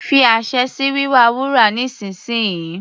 Fi àṣẹ sí wíwa wúrà nísìnsìnyí.